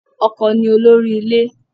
Ọkọ ni olórí ilé